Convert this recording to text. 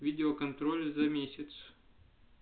видео-контроль за месяц